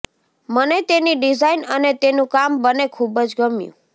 મને તેની ડિઝાઇન અને તેનું કામ બંને ખૂબ જ ગમ્યું